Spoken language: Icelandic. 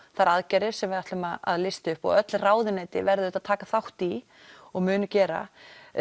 þær aðgerðir sem við ætlum að lista upp og öll ráðuneyti verða auðvitað að taka þátt í og munu gera